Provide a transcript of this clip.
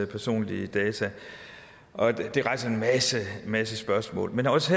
personlige data det rejser en masse masse spørgsmål men også